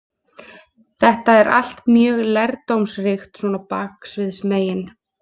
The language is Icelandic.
Þetta er allt mjög lærdómsríkt svona baksviðsmegin.